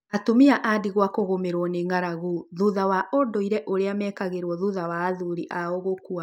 Atumia a ndigwa arĩa maragũmĩrũo nĩ ng’aragu thutha wa ũndũire ũrĩa mekagĩrwo thutha wa athuri ao gũkua